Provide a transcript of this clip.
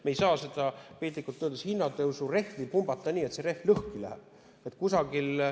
Me ei saa seda, piltlikult öeldes, hinnatõusurehvi pumbata nii, et see rehv lõhki läheb.